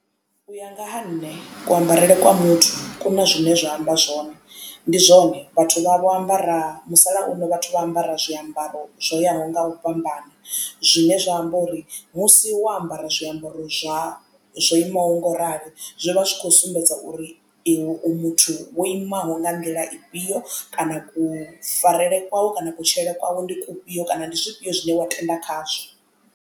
U ya nga ha nṋe ku ambarele kwa muthu ku na zwine zwa amba zwone ndi zwone vhathu vha vho ambara musalauno vhathu vha ambara zwiambaro zwo yaho nga u fhambana zwine zwa amba uri musi wo ambara zwiambaro zwa zwo imaho ngoralo zwi vha zwi kho sumbedza uri iwe u muthu wo imaho nga nḓila ifhio kana kufarele kwau kana kutshilele kwau ndi kufhio kana ndi zwifhio zwine wa tenda khazwo.